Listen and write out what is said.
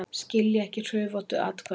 Skilja ekki hrufóttu atkvæðin